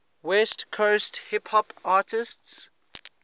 west coast hip hop artists